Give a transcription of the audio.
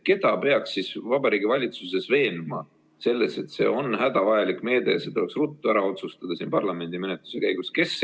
Keda peaks Vabariigi Valitsuses veenma selles, et see on hädavajalik meede ja see tuleks ruttu ära otsustada siin parlamendimenetluse käigus?